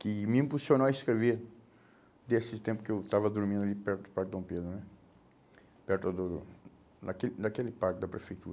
que me impulsionou a escrever nesse tempo que eu estava dormindo ali perto do Parque Dom Pedro né, perto do do daquele daquele parque da